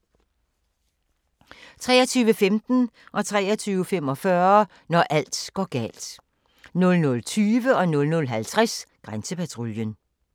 23:15: Når alt går galt 23:45: Når alt går galt 00:20: Grænsepatruljen 00:50: Grænsepatruljen